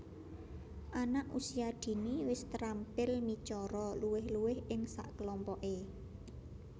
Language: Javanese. Anak Usia Dini wis terampil micara luwih luwih ing sakelompoke